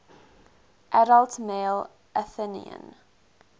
adult male athenian